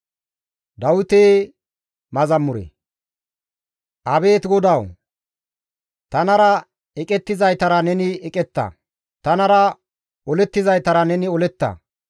Abeet GODAWU! Tanara eqettizaytara neni eqetta; tanara olettizaytara neni oletta.